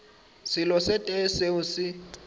selo se tee seo se